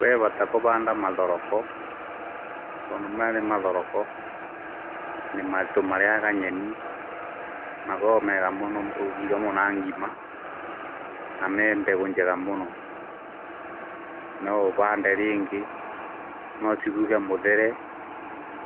Vevata kũvanda mathoroko, tondũ maya nĩ mathoroko nĩtũmarĩaga nyeni, makorogo mega mũno ũrugĩrwo mũno na ngima, na me mbegũ njega mũno no ũvaande ringĩ no ciruge mũthere